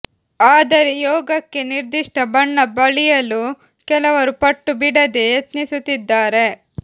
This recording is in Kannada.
ಆದರೆ ಯೋಗಕ್ಕೆ ನಿರ್ದಿಷ್ಟ ಬಣ್ಣ ಬಳಿಯಲು ಕೆಲವರು ಪಟ್ಟು ಬಿಡದೆ ಯತ್ನಿಸುತ್ತಿದ್ದಾರೆ